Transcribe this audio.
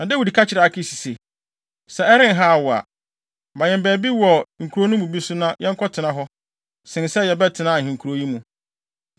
Na Dawid ka kyerɛɛ Akis se, “Sɛ ɛrenhaw wo a, ma yɛn baabi wɔ nkurow no bi so na yɛnkɔtena hɔ sen sɛ yɛbɛtena ahenkurow yi mu.”